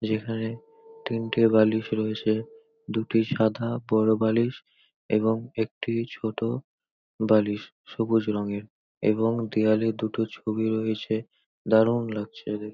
যেখানে তিনটি বালিশ রয়েছে দুটো সাদা বড় বালিশ এবং একটি ছোট বালিশ সবুজ রঙের এবং দেওয়ালে দুটো ছবি রয়েছে দারুন লাগছে দেখতে।